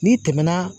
N'i tɛmɛna